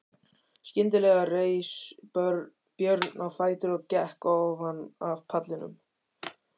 Skyndilega reis Björn á fætur og gekk ofan af pallinum.